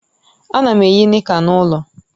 Ana m eyi nika n'ulo